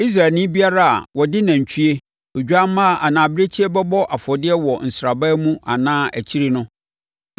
Israelni biara a ɔde nantwie, odwammaa anaa abirekyie bɛbɔ afɔdeɛ wɔ sraban mu anaa akyire no